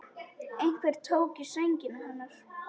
Einhver tók í sængina hennar.